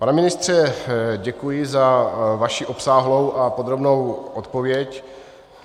Pane ministře, děkuji za vaši obsáhlou a podrobnou odpověď.